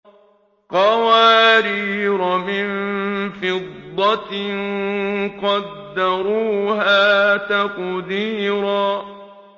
قَوَارِيرَ مِن فِضَّةٍ قَدَّرُوهَا تَقْدِيرًا